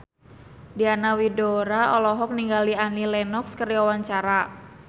Diana Widoera olohok ningali Annie Lenox keur diwawancara